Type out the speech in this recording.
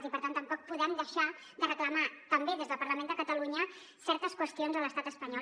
i per tant tampoc podem deixar de reclamar també des del parlament de catalunya certes qüestions a l’estat espanyol